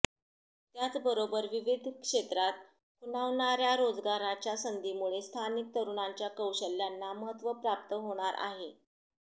त्याचबरोबर विविध क्षेत्रात खुणावणार्या रोजगाराच्या संधींमुळे स्थानिक तरुणांच्या कौशल्यांना महत्त्व प्राप्त होणार आहे